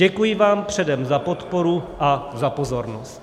Děkuji vám předem za podporu a za pozornost.